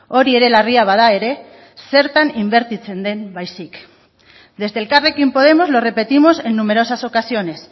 hori ere larria bada ere zertan inbertitzen den baizik desde elkarrekin podemos lo repetimos en numerosas ocasiones